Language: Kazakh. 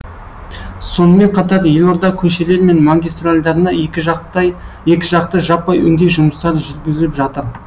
сонымен қатар елорда көшелері мен магистральдарына екіжақты жаппай өңдеу жұмыстары жүргізіліп жатыр